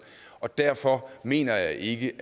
og derfor mener jeg ikke